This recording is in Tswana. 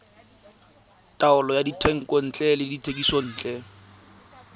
taolo ya dithekontle le dithekisontle